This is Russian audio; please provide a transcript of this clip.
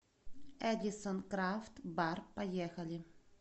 эдисон крафт бар поехали